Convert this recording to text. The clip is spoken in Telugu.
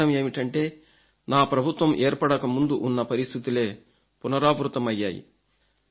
దీని అర్థం ఏమిటంటే నా ప్రభుత్వం ఏర్పడక ముందు ఉన్న పరిస్థితులే పునరావృతమయ్యాయి